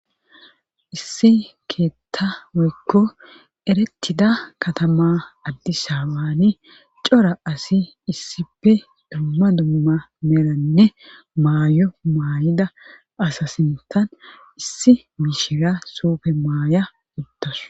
Issi keetta weekko erettida katama addi saawaane cora asi issife dumma dumma melanne maayo maay7ida asa sintan issi miishira soofe maaya uddasu